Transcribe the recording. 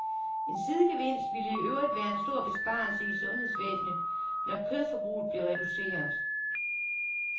En sidegevinst ville i øvrigt være en stor besparelse i sundhedsvæsenet, når kødforbruget blev reduceret.